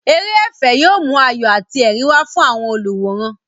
Eré ẹ̀fẹ̀ yóò mú ayọ̀ àti ẹ̀rín wá fún àwọn olùwòran.